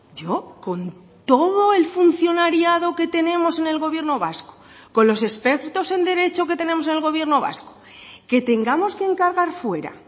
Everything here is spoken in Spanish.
yo con todo el funcionariado que tenemos en el gobierno vasco con los expertos en derecho que tenemos en el gobierno vasco que tengamos que encargar fuera